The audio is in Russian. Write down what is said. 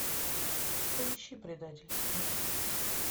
поищи предательство